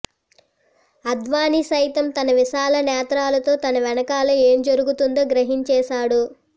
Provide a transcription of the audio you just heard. అద్వానీ సైతం తన విశాల నేత్రాలతో తన వెనకాల ఏం జరుగుతుందో గ్రహించేశాడు